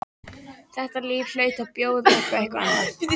Þetta líf hlaut að bjóða upp á eitthvað annað.